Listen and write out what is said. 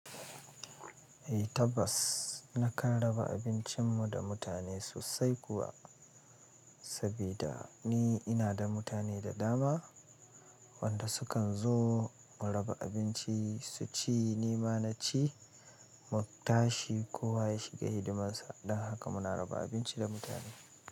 Eh tabbas na karraba abincin mu da mutane sosai kuwa, saboda ni ina da mutane da dama wanda su kan zo mu raba abinci su ci ni ma na ci, mu tashi kowa ya shiga hidimarsa. Don haka muna raba abinci da mutane.